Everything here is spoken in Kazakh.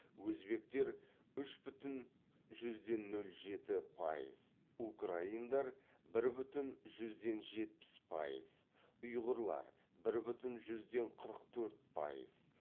өзбектер үш бүтін жүзден нөл жеті пайыз украиндар бір бүтін жүзден жетпіс пайыз ұйғырлар бір бүтін жүзден қырық төрт пайыз